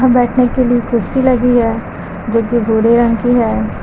बैठने के लिए कुर्सी लगी है जो कि भूरे रंग की है।